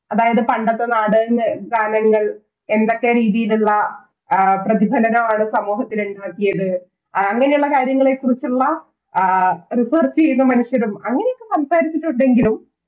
അതായത് പണ്ടത്തെ നാടക ഗാനങ്ങൾ എന്തൊക്കെ രീതിയിലുള്ള ആ ആഹ് പ്രതിഫലനമാണ് സമൂഹത്തിലേക്ക് നൽകിയത് എ അങ്ങനെയുള്ള കാര്യങ്ങളെക്കുറിച്ചുള്ള ആഹ് Research ചെയ്ത മനുഷ്യരും അങ്ങനെയൊക്കെ സംസാരിച്ചുണ്ടെങ്കിലും